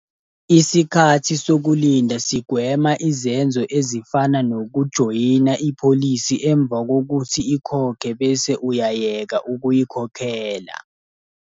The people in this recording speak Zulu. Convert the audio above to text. Isikhathi sokulinda sigwema izenzo ezifana nokujoyina ipholisi emva kokuthi ikhokhe bese uyayeka ukuyikhokhela.